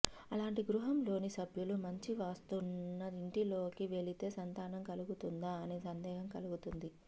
అలాంటి గృహంలోని సభ్యులు మంచి వాస్తున్న ఇంటిలోకి వెళితే సంతానం కలుగుతుందా అనే సందేహం కలుగుతుంది